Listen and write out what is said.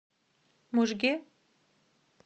можге